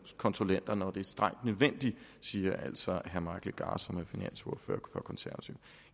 konsulenter når det er strengt nødvendigt det siger altså herre mike legarth som er finansordfører for de konservative